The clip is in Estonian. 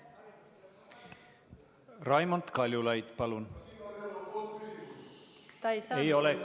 Raimond Kaljulaid, palun!